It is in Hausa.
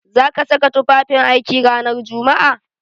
Za ka saka tufafin aiki ranar Jumma'a?